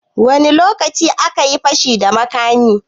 Wani lokaci akayi fashi da makamin?